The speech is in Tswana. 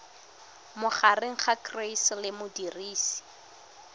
magareng ga gcis le modirisi